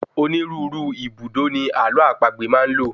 onírúurú ibùdó ni àlọ́ àpagbè maa ń lò